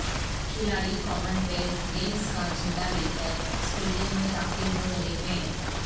کھلاڑی commonwealth games کا جھنڈا لے کر سٹیڈیم میں داخل ہو رہے ہیں